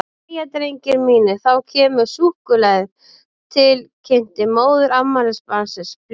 Jæja, drengir mínir, þá kemur súkkulaðið, til kynnti móðir afmælisbarnsins blíðlega.